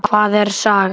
Hvað er saga?